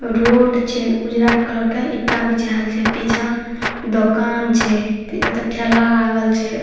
Road छै उजला colour के ईटा बिछाएल छै पीछे दुकान छै ऐता ठेला लागल छै।